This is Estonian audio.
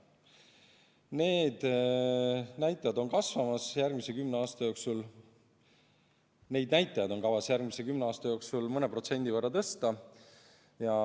Neid näitajaid on kavas järgmise kümne aasta jooksul mõne protsendi võrra tõsta.